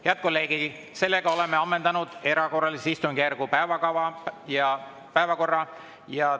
Head kolleegid, oleme ammendanud erakorralise istungjärgu päevakorra.